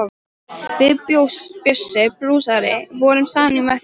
Við Bjössi blúsari vorum saman í meðferð.